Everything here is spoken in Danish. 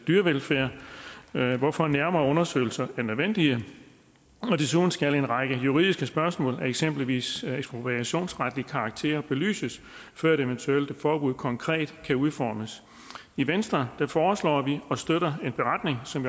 dyrevelfærden hvorfor nærmere undersøgelser er nødvendige desuden skal en række juridiske spørgsmål af eksempelvis ekspropriationsretlig karakter belyses før et eventuelt forbud konkret kan udformes i venstre foreslår og støtter vi en beretning som